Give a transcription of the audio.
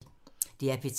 DR P3